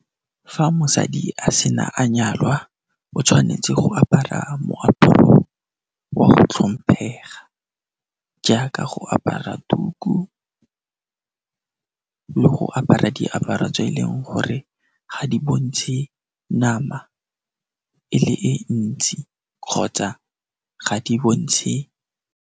Fa mosadi a sena a nyalwa o tshwanetse go apara moaparo wa go tlhomphega jaaka go apara tuku ka go apara diaparo tse e leng gore ga di bontshe nama e le e ntsi kgotsa ga di bontshe.